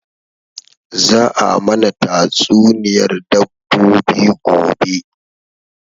Za a mana tatsuniyar dabbobi gobe